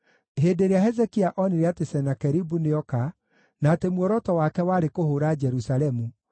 Hĩndĩ ĩrĩa Hezekia onire atĩ Senakeribu nĩoka na atĩ muoroto wake warĩ kũhũũra Jerusalemu,